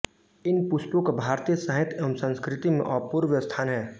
इन पुष्पों का भारतीय साहित्य एवं संस्कृति में अपूर्व स्थान है